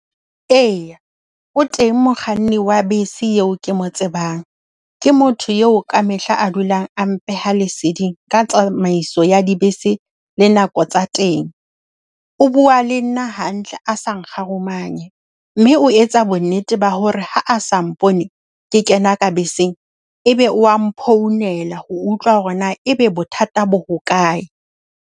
Eya, o teng mokganni wa bese eo ke mo tsebang. Ke motho eo ka mehla a dulang a mpeha leseding ka tsamaiso ya dibese le nako tsa teng. O bua le nna hantle a sa nkgarumanye. Mme o etsa bonnete ba hore ha a sa mpone ke kena ka beseng e be wa mphounela ho utlwa hore na e be bothata bo hokae.